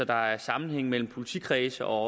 der er sammenhæng mellem politikredsene og